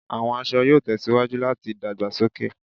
Awọn aṣọ yoo tẹsiwaju lati dagbasoke